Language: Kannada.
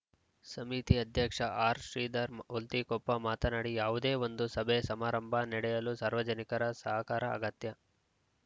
ಸಮಿತಿ ಅಧ್ಯಕ್ಷ ಆರ್‌ಶ್ರೀಧರ ಹುಲ್ತಿಕೊಪ್ಪ ಮಾತನಾಡಿ ಯಾವುದೇ ಒಂದು ಸಭೆ ಸಮಾರಂಭ ನಡೆಯಲು ಸಾರ್ವಜನಿಕರ ಸಹಕಾರ ಅಗತ್ಯ